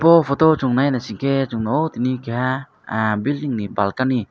o photo o chong nainaisike song nogo tini keha bilding ni balkani.